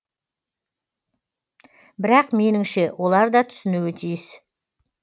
бірақ меніңше олар да түсінуі тиіс